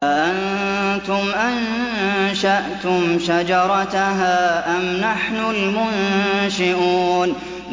أَأَنتُمْ أَنشَأْتُمْ شَجَرَتَهَا أَمْ نَحْنُ الْمُنشِئُونَ